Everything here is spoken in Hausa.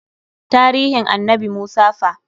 Taarihin annabi Musa fa?